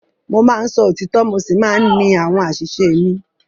Mo máa ń sọ òtítọ́ mo sì máa ń ní àwọn àṣìṣe mi.